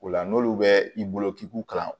O la n'olu bɛ i bolo k'i k'u kalan